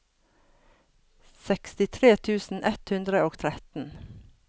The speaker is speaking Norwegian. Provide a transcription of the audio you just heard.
sekstitre tusen ett hundre og tretten